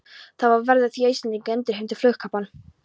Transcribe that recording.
Bið varð á því, að Íslendingar endurheimtu flugkappann.